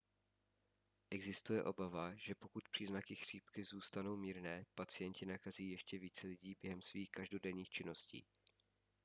existuje obava že pokud příznaky chřipky zůstanou mírné pacienti nakazí ještě více lidí během svých každodenních činností